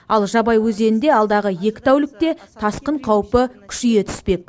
ал жабай өзенінде алдағы екі тәулікте тасқын қаупі күшейе түспек